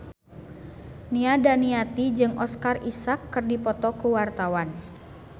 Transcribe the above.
Nia Daniati jeung Oscar Isaac keur dipoto ku wartawan